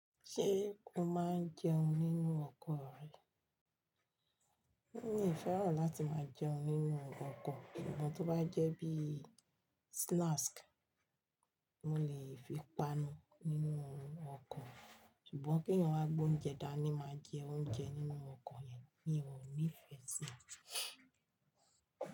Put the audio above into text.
Ṣé o máa ń jẹun nínú ọkọ̀ rẹ? Mi ò fẹ́ràn láti máa jẹun nínú ọkọ̀, ìbọn tó bá jẹ́ bí snacks mo lè fi páànù nínú ọkọ̀, ṣùgbọ́n kí èèyàn wá gbé oúnjẹ dání má jẹ oúnjẹ nínú ọkọ̀ yẹn, mi ò nífẹ̀ẹ́ sí i.